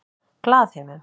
Glaðheimum